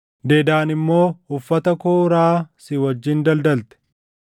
“ ‘Dedaan immoo uffata kooraa si wajjin daldalte.